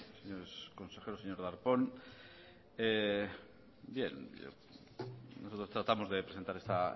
señores consejeros señor darpón bien nosotros tratamos de presentar esta